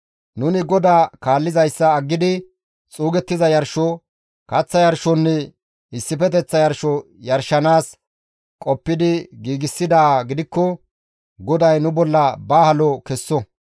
Nuni GODAA kaallizayssa aggidi xuugettiza yarsho, kaththa yarshonne issifeteththa yarsho yarshanaas qoppidi giigsidaa gidikko, GODAY nu bolla ba halo kesso.